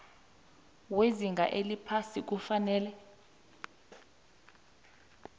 wezinga eliphasi kufanele